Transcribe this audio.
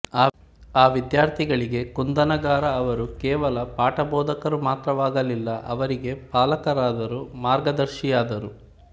ಆ ವಿದ್ಯಾರ್ಥಿಗಳಿಗೆ ಕುಂದಣಗಾರ ಅವರು ಕೇವಲ ಪಾಠಬೋಧಕರು ಮಾತ್ರವಾಗಲಿಲ್ಲ ಅವರಿಗೆ ಪಾಲಕರಾದರು ಮಾರ್ಗದರ್ಶಿಯಾದರು